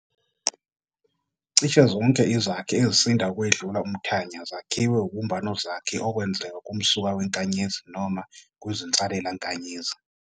Cishe zonke izakhi ezisinda ukwedlula umThanya zakhiwe ubumbanozakhi okwenzeka kumsuka weNkanyezi noma kwizinsalelankanyezi.